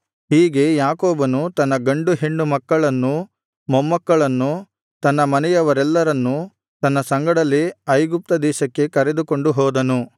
ಹೀಗೆ ಯಾಕೋಬನು ತನ್ನ ಗಂಡು ಹೆಣ್ಣು ಮಕ್ಕಳನ್ನೂ ಮೊಮ್ಮಕ್ಕಳನ್ನೂ ತನ್ನ ಮನೆಯವರೆಲ್ಲರನ್ನೂ ತನ್ನ ಸಂಗಡಲೇ ಐಗುಪ್ತ ದೇಶಕ್ಕೆ ಕರೆದುಕೊಂಡು ಹೋದನು